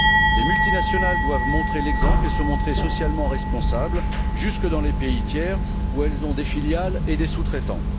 Les multinationales doivent montrer l'exemple et agir d'une manière socialement responsable, jusque dans les pays tiers où elles ont des filiales et des sous traitants.